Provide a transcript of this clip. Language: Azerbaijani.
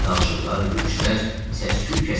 Danışıqlar, gülüşlər, səsküy kəsildi.